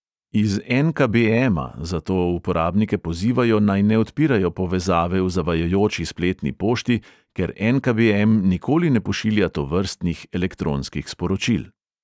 Iz en|ka|be|ema zato uporabnike pozivajo, naj ne odpirajo povezave v zavajajoči spletni pošti, ker en|ka|be|em nikoli ne pošilja tovrstnih elektronskih sporočil.